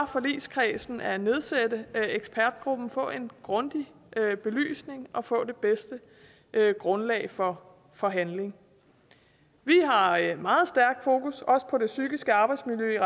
forligskredsen at nedsætte ekspertgruppen og få en grundig belysning at få det bedste grundlag for for handling vi har i meget stærkt fokus på det psykiske arbejdsmiljø